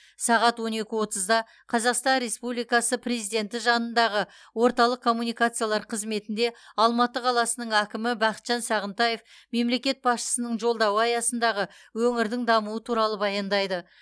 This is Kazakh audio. сағат он екі отызда қазақстан республикасы президенті жанындағы орталық коммуникациялар қызметінде алматы қаласының әкімі бақытжан сағынтаев мемлекет басшысының жолдауы аясындағы өңірдің дамуы туралы баяндайды